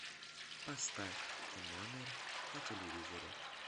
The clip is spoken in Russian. поставь т номер на телевизоре